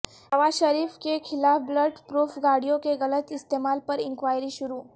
نواز شریف کے خلاف bullet proof گاڑیوں کے غلط استعمال پر انکوائری شروع